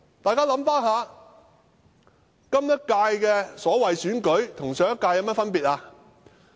大家回想一下，今屆的所謂選舉與上屆有何分別？